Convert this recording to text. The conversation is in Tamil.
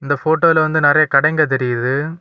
இந்த போட்டோல வந்து நிறைய கடைங்க தெரியுது.